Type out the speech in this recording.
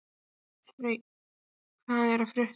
Hreinn, hvað er að frétta?